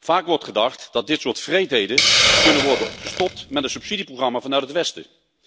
Vaak wordt gedacht dat dit soort wreedheden kan worden gestopt met een subsidieprogramma vanuit het Westen.